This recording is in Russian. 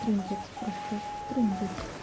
трындец просто трындец